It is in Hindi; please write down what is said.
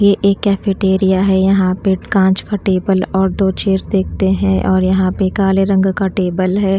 ये एक कैफेटेरिया है यहाँ पे काँच का टेबल और दो चेयर देखते हैं और यहाँ पे काले रंग का टेबल है।